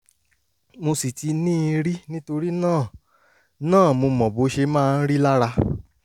mo sì ti ní i rí nítorí náà náà mo mọ bó ṣe máa ń rí lára